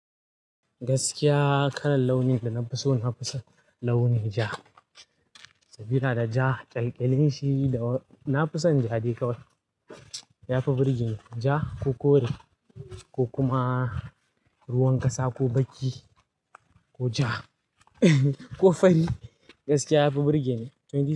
Gaskiya kalan launi da na fi so na fi son launi ja. Sabida ja ƙyalƙyalinshi da na fi son ja dai kawai. Yafi burge ni ja ko kore ko kuma ruwan ƙasa ko baki ko ja ko fari gaskiya yafi burge ni. To ni.